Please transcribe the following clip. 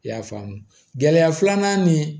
I y'a faamu gɛlɛya filanan ni